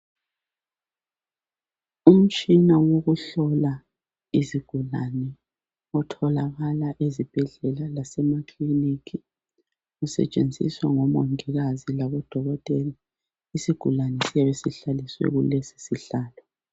Umtshina wokuhlola izigulane utholakala ezibhedlela lasemakliniki. Usetshenziswa ngo Mongikazi labo Dokotela. Isigulane siyabe sihlaliswe kulesi isihlalo.